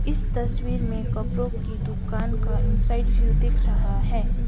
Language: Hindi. इस तस्वीर में कपड़ों की दुकान का इनसाइड व्यू दिख रहा है।